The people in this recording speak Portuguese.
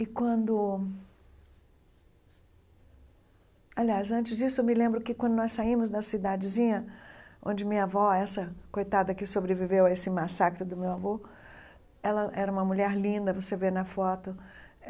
E quando... Aliás, antes disso, eu me lembro que, quando nós saímos da cidadezinha, onde minha avó, essa coitada que sobreviveu a esse massacre do meu avô, ela era uma mulher linda, você vê na foto.